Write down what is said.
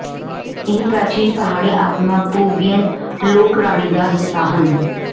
ਇਹ ਪ੍ਰਾਚੀਨ ਪਹਾੜੀ ਆਤਮਾ ਪਰੂਵੀਅਨ ਲੋਕਰਾਣੀ ਦਾ ਹਿੱਸਾ ਹਨ